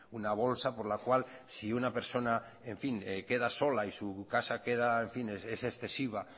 una bolsa por la cual si una persona queda sola y su casa es excesiva